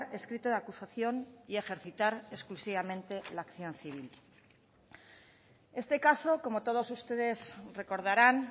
escrito de acusación y ejercitar exclusivamente la acción civil este caso como todos ustedes recordarán